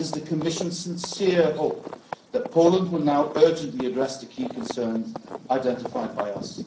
It is the Commission's sincere hope that Poland will now urgently address the key concerns identified